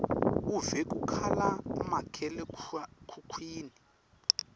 uve kukhala makhalekhukhwini